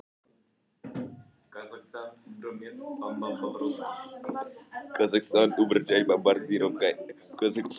Höskuldur: Þannig að fólk hugsar jafnvel betur um bílana í dag heldur en það gerði?